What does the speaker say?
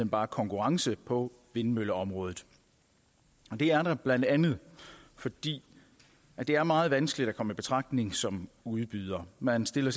bare konkurrence på vindmølleområdet det er der blandt andet fordi det er meget vanskeligt at komme i betragtning som udbyder man stiller